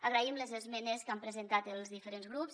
agraïm les esmenes que han presentat els diferents grups